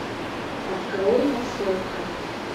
открой массовка